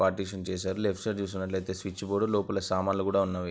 Partition చేసారు. Left side చూసినట్టైతే switch board లోపల సామాన్లు కూడా ఉన్నవి.